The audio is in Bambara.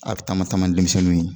A bɛ taama taama denmisɛnninw ye.